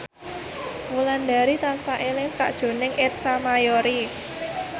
Wulandari tansah eling sakjroning Ersa Mayori